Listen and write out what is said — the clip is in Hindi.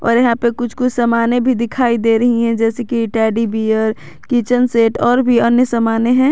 और यहां पे कुछ कुछ सामाने भी दिखाई दे रही हैं जैसे कि टेडी बेयर किचन सेट और भी अन्य सामाने हैं।